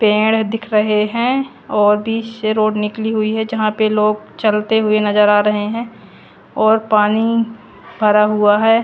पेड़ दिख रहे हैं और से रोड निकली हुई है यहां पे लोग चलते हुए नजर आ रहे हैं और पानी भरा हुआ है।